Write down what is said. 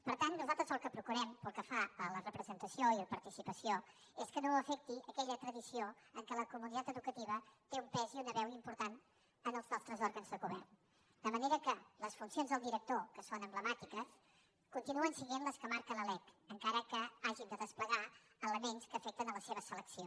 per tant nosaltres el que procurem pel que fa a la representació i participació és que no afectin aquella tradició en què la comunitat educativa té un pes i una veu importants en els nostres òrgans de govern de manera que les funcions del director que són emblemàtiques continuen sent les que marca la lec encara que hàgim de desplegar elements que afecten la seva selecció